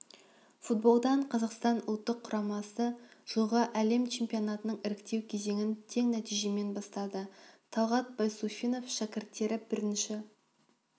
футболдан қазақстан ұлттық құрамасы жылғы әлем чемпионатының іріктеу кезеңін тең нәтижемен бастады талғат байсуфинов шәкірттері бірінші